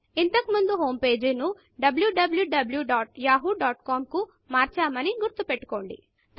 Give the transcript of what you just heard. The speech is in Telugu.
ఇంతకు ముందు హోమ్ pageహోమ్ పేజీ ను wwwyahoocom కు మార్చామని గుర్తు పెట్టుకోండి